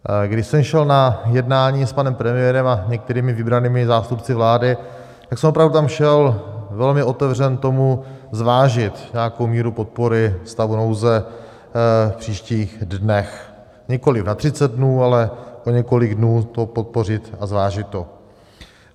Když jsem šel na jednání s panem premiérem a některými vybranými zástupci vlády, tak jsem opravdu tam šel velmi otevřen tomu, zvážit nějakou míru podpory stavu nouze v příštích dnech, nikoliv na 30 dnů, ale o několik dnů to podpořit a zvážit to.